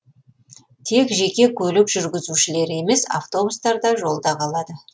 тек жеке көлік жүргізушілері емес автобустар да жолда қалады